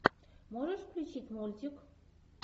можешь включить мультик